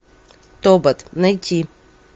тобот найти